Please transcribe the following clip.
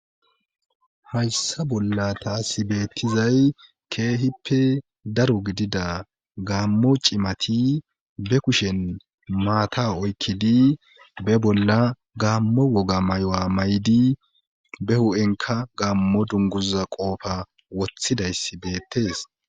hayssa bolla taasi beettizay keehippe daro gidida gaammo cimati be kushen maata oykkidi be bolla gaammo woga may7o7a may7di be hu7enka gaammo dunguza qoofa woththidayss beettees